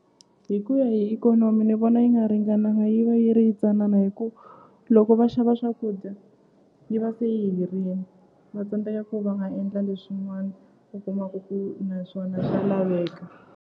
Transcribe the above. Hi ku ya hi ikhonomi ni vona yi nga ringananga yi va yi ri yintsanana hi ku loko va xava swakudya yi va se yi herini va tsandzeka ku va nga endla leswin'wana u kumaku ku na swona swa laveka.